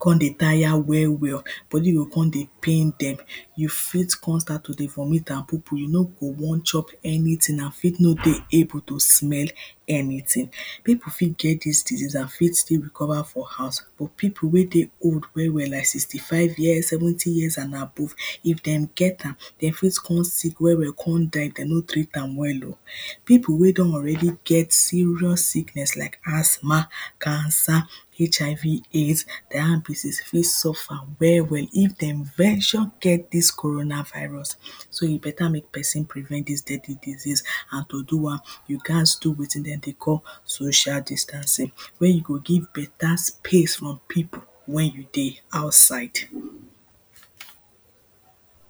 come dey tire well well body go come dey pain dem. You fit come start to dey vomit and pupu, you no go wan chop any thing and fit no dey able to dey smell anything. People fit get dis thing and fit still recover for house but people wey dey old well well like sixty five years, seventy years and above, if dem get am dem fit come sick well come die, if dem no treat am well oh People wey dey already get serious sickness like asthma, cancer HIV, AIDS, diabetes fit suffer well well if dem venture get dis corona virus So e better make prevent dis steady disease and to do am, you gat do wetin dem dey call social distance, wey you go give better space from people wey dey outside